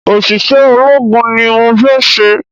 Òṣìṣẹ́ ológun ni mọ fé se